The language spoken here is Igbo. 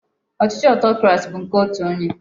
Ochichi Otokurasi bu nke otu onye